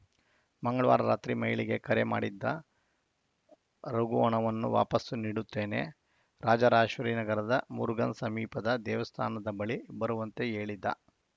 ಮಂಗಳವಾರ ರಾತ್ರಿ ಮಹಿಳೆಗೆ ಕರೆ ಮಾಡಿದ್ದ ರಘು ಹಣವನ್ನು ವಾಪಸ್‌ ನೀಡುತ್ತೇನೆ ರಾಜರಾಜೇಶ್ವರಿ ನಗರದ ಮುರುಗನ್‌ ಸಮೀಪದ ದೇವಸ್ಥಾನದ ಬಳಿ ಬರುವಂತೆ ಹೇಳಿದ್ದ